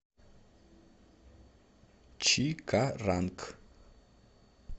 чикаранг